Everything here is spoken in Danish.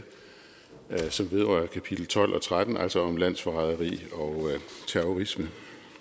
som vedrører kapitel tolv og tretten altså om landsforræderi og terrorisme